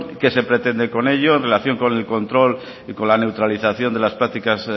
qué se pretende ello en relación con el control y la neutralización de las prácticas